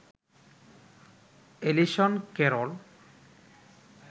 Allison Carroll